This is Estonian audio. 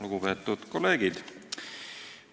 Lugupeetud kolleegid!